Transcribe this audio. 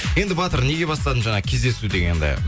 енді батыр неге бастадым жаңа кездесу дегенді